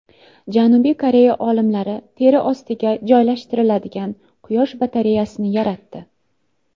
Janubiy Koreya olimlari teri ostiga joylashtiriladigan quyosh batareyasini yaratdi.